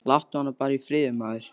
Láttu hana bara í friði, maður.